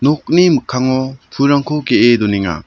nokni mikkango pulrangko ge·e donenga.